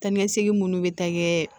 Taa ni ka segin minnu bɛ taa kɛ